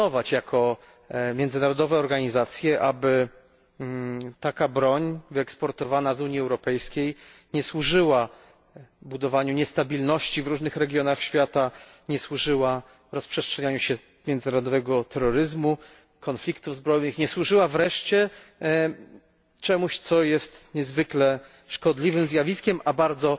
Jako międzynarodowa organizacja musimy pilnować, aby broń wyeksportowana z Unii Europejskiej nie służyła budowaniu niestabilności w różnych regionach świata, nie służyła rozprzestrzenianiu się międzynarodowego terroryzmu, konfliktów zbrojnych, nie służyła wreszcie czemuś, co jest niezwykle szkodliwym zjawiskiem, a bardzo